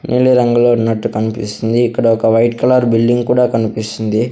నీలి రంగులో ఉన్నట్టు కనిపిస్తుంది ఇక్కడ ఒక వైట్ కలర్ బిల్డింగ్ కూడా కనిపిస్తుంది.